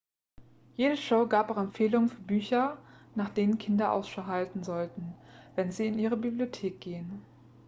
jede show gab auch empfehlungen für bücher nach denen kinder ausschau halten sollten wenn sie in ihre bibliothek gehen